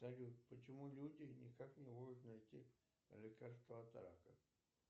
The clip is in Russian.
салют почему люди никак не могут найти лекарство от рака